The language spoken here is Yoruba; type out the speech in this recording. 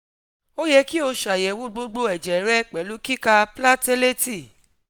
o yẹ ki o ṣayẹwo gbogbo ẹjẹ rẹ pẹlu kika cs] platelet